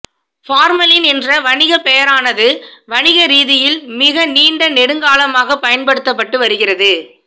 formalin என்ற வணிகப் பெயரானது வணிகரீதியில் மிக நீண்ட நெடுங்காலமாகப் பயன்படுத்தப்பட்டு வருகிறது